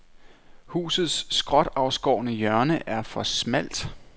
Husets skråtafskårne hjørne er for smalt.